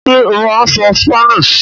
Ṣé ó máa ń sọ Spanish?